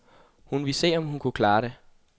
Hun ville se, om hun kunne klare det.